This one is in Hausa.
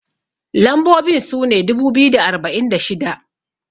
lambobin sune dubu biyu da arba'in da shida